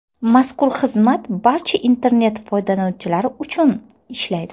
Mazkur xizmat barcha internet foydalanuvchilari uchun ishlaydi.